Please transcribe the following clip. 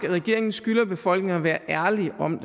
at regeringen skylder befolkningen at være ærlige om